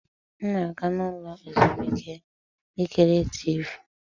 M na-aga n'ụlọ ezumike ikiri Tiivi.